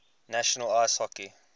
national ice hockey